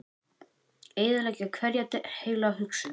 Eyðileggja hverja heila hugsun.